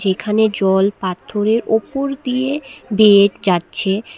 এখানে জল পাত্থরের ওপর দিয়ে বেয়ে যাচ্ছে।